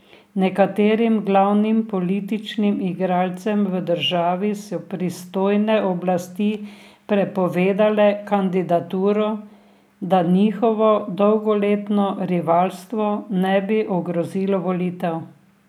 Nekaterim glavnim političnim igralcem v državi so pristojne oblasti prepovedale kandidaturo, da njihovo dolgoletno rivalstvo ne bi ogrozilo volitev.